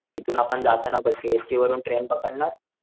हितून आपण जाताना सीएसटी वरून ट्रेन पकडणार